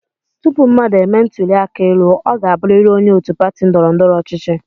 Tupu mmadụ e mee ntụli aka elu, ọ ga-abụrịrị onye òtù pati ndọrọ ndọrọ ọchịchị.